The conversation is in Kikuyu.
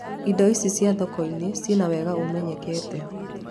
Indo ici cia thoko-inĩ cina wega ũmenyekete